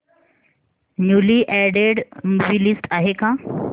newly added movie list आहे का